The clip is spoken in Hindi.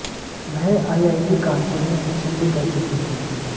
वह आईआईटी कानपुर में शिक्षण भी कर चुकी थीं